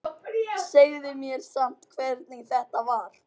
Segðu mér samt hvernig þetta var.